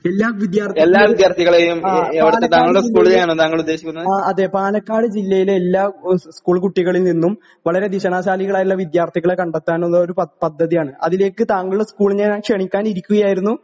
എല്ലാ വിദ്യാർത്ഥിക്കും ആ പാലക്കാട് ജില്ലയിലെ ആ അതെ പാലക്കാട് ജില്ലയിലെ എല്ലാ ഏഹ് സ്കൂൾ കുട്ടികളിൽ നിന്നും വളരെ വീക്ഷണശാലികളായിട്ടിള്ള വിദ്യാർത്ഥികളെ കണ്ടെത്താനുള്ളൊരു പ പദ്ധതിയാണ്. അതിലേക്ക് താങ്കളെ സ്കൂളിനെ ഞാൻ ക്ഷണിക്കുകയായിരുന്നു